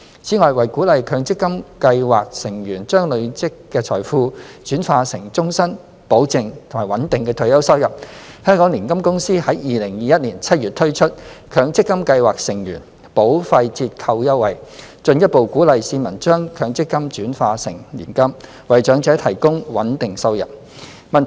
此外，為鼓勵強積金計劃成員將累積的財富轉化成終身、保證及穩定的退休收入，香港年金公司於2021年7月推出強積金計劃成員保費折扣優惠，進一步鼓勵市民將強積金轉化成年金，為長者提供穩定收入。